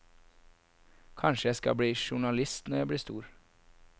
Kanskje jeg skal bli journalist når jeg blir stor.